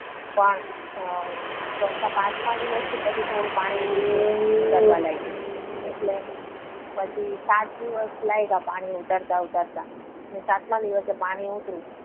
પછી અમ ચોથા પાંચમા દિવસે પછી થોડું પાણી નીચે ઉતારવા લાગ્યું. એટલે પછી સાત દિવસ લાગ્યા પાણી ઉતરતા ઉતરતા. અને સાતમા દિવસે પાણી ઉતર્યું.